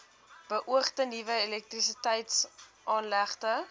beoogde nuwe elektrisiteitsaanlegte